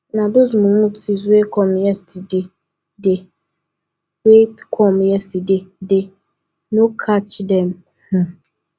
na those mumu thieves wey come yesterdaydey wey come yesterdaydey no catch dem um